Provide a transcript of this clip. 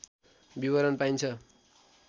विवरण पाइन्छ